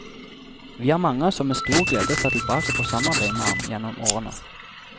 Vi er mange som med stor glede ser tilbake på samarbeidet med ham gjennom årene.